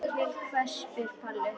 Til hvers spyr Palli.